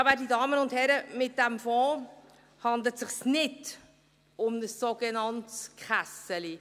Ja, werte Damen und Herren, bei diesem Fonds handelt es sich nicht um ein sogenanntes «Kässeli».